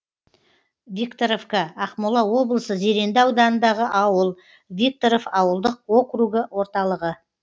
викторовка ақмола облысы зеренді ауданындағы ауыл викторов ауылдық округі орталығы